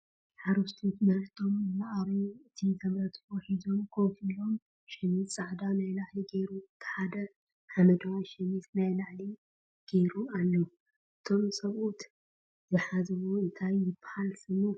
ሓረስቶት ምርቶም እናርኣዩ እቲ ዘምረትዎ ሒዞም ኮፍ ኢሎም ሽሚዝ ፃዕዳ ናይ ላዕሊ ጌሩ እቲ ሐደ ሓመደዋይ ሸሚዝ ናይ ላዕሊ ጌሮም ኣለዉ። እቶም ሰብኡት ዝሓዝዎ እንታይ ይበሃል ሽሙ ?